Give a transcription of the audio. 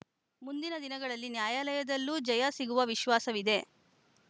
ಮುಂದಿನ ದಿನಗಳಲ್ಲಿ ನ್ಯಾಯಾಲಯದಲ್ಲೂ ಜಯ ಸಿಗುವ ವಿಶ್ವಾಸವಿದೆ